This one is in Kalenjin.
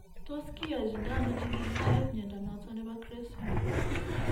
Tos kiyochindo ano chikilisiet mnyondo noton nebo CREST syndrome ?